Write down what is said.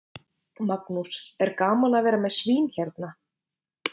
Magnús: Er gaman að vera með svín hérna?